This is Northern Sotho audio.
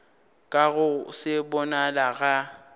ka go se bonale ga